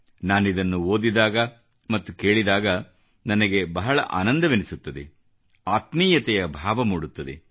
ನಾನಿದನ್ನು ಓದಿದಾಗ ಮತ್ತು ಕೇಳಿದಾಗ ನನಗೆ ಬಹಳ ಆನಂದವೆನ್ನಿಸುತ್ತದೆ ಆತ್ಮೀಯತೆಯ ಭಾವ ಮೂಡುತ್ತದೆ